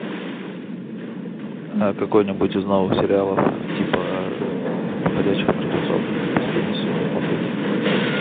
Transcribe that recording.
а какой нибудь из новых сериалов типа ходячих мертвецов последний сезон смотреть